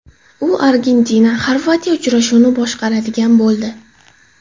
U ArgentinaXorvatiya uchrashuvini boshqaradigan bo‘ldi.